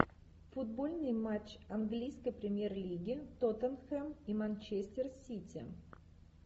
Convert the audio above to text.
футбольный матч английской премьер лиги тоттенхэм и манчестер сити